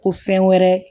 Ko fɛn wɛrɛ